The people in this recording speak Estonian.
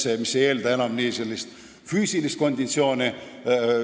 Selline töö ei eelda enam sellist head füüsilist konditsiooni.